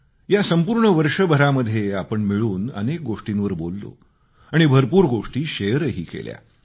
या संपूर्ण वर्षभरामध्ये आपण मिळून अनेक गोष्टींवर बोललो आणि भरपूर गोष्टी शेअरही केल्या